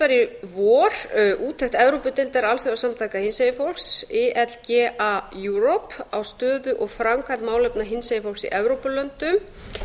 í vor úttekt evrópudeildar alþjóðasamtaka hinsegin fólks ilga europe á stöðu og framkvæmd málefna hinsegin fólks í evrópulöndum